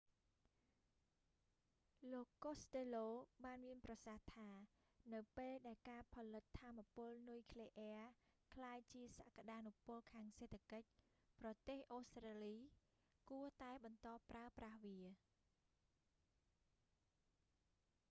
លោក costello បានមានប្រសាសន៍ថា នៅពេលដែលការផលិតថាមពលនុយក្លេអ៊ែរក្លាយជាសក្ដានុពលខាងសេដ្ឋកិច្ច ប្រទេស អូស្ត្រាលីគួរតែបន្តប្រើប្រាស់វា